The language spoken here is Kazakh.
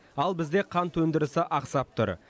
ал бізде қант өндірісі ақсап тұр